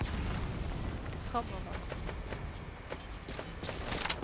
fremover